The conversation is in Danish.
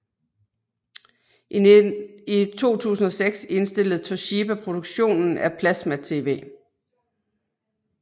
I 2006 indstillede Toshiba produktionen af plasmatv